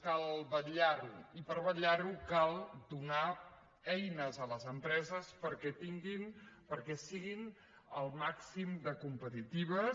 cal vetllar·hi i per vetllar·hi cal donar eines a les em·preses perquè siguin el màxim de competitives